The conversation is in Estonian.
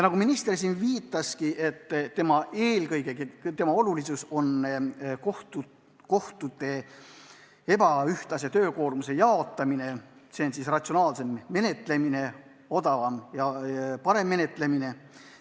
Nagu minister märkis, on eelnõu eesmärk eelkõige kohtute ebaühtlase töökoormuse jaotamine ja üldse ratsionaalsem, odavam ja parem menetlemine.